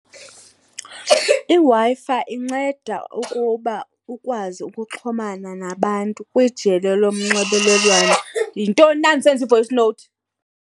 IWi-Fi inceda ukuba ukwazi ukuxhumana nabantu kwijelo lonxibelelwano. Yintoni na ndisenza i-voice note?